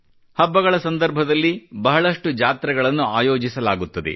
ಹಬ್ಬಗಳ ಸಂದರ್ಭದಲ್ಲಿ ಬಹಳಷ್ಟು ಜಾತ್ರೆಗಳನ್ನು ಆಯೋಜಿಸಲಾಗುತ್ತದೆ